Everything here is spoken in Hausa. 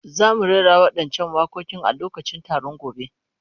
Za mu rera waɗancan waƙoƙin a lokacin taron gobe.